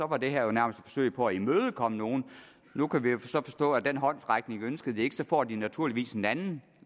var det her jo nærmest et forsøg på at imødekomme nogle nu kan vi så forstå at den håndsrækning ønskede de ikke men så får de naturligvis en anden